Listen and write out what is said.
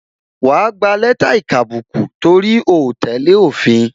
Wa gba lẹ́tà ìkàbùkù, torí o tẹ́lẹ̀ òfin